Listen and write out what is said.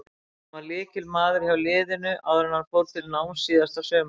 Hann var lykilmaður hjá liðinu áður en hann fór til náms síðasta sumar.